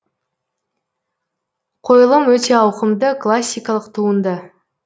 қойылым өте ауқымды классикалық туынды